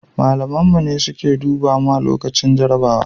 malamin mu ne suke duba mu lokacin jarabawa